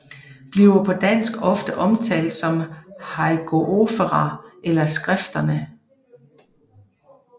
Bliver på dansk ofte omtalt som Hagiographa eller Skrifterne